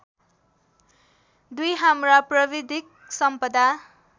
२ हाम्रा प्राविधिक सम्पदा